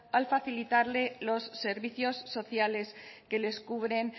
al facilitarle los servicios sociales que les cubren